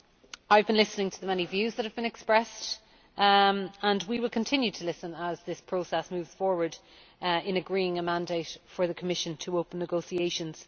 I have been listening to the many views that have been expressed and we will continue to listen as this process moves forward towards agreeing a mandate for the Commission to open negotiations.